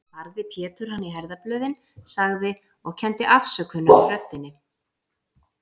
Barði Pétur hann í herðablöðin, sagði, og kenndi afsökunar í röddinni